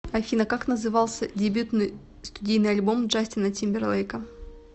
афина как назывался дебютный студийный альбом джастина тимберлейка